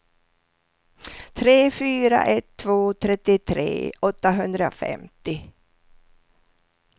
tre fyra ett två trettiotre åttahundrafemtio